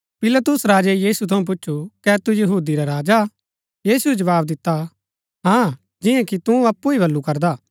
पिलातुस राजै यीशु थऊँ पुछु कै तू यहूदी रा राजा हा यीशुऐ जवाव दिता हाँ जियां कि तू अप्पु ही बल्लू करदा